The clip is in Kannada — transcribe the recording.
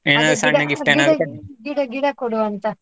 ಗಿಡ ಗಿಡ ಕೊಡುವ ಅಂತ.